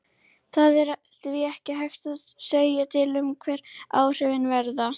Það er því ekki hægt að segja til um hver áhrifin verða.